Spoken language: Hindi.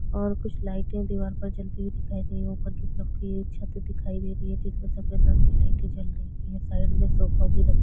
और कुछ लाइटे दीवार जलती हुई दिखाई दे रही है ऊपर की तरफ की छते दिखाई दे रही है जिसमे सफ़ेद रंग की लाइट जल रही है साइड में सोफा भी रखा हुआ है जो कि--